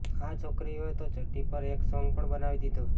આ છોકરીઓએ તો ચડ્ડી પર એક સોંગ પણ બનાવી દીધું